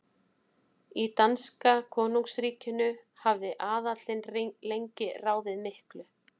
Í danska konungsríkinu hafði aðallinn lengi ráðið miklu.